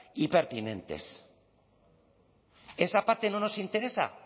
y pertinentes esa parte no nos interesa